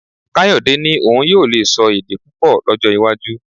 Káyọ̀dẹ́ ní òun yóò lè sọ èdè púpọ̀ lọ́jọ́ iwájú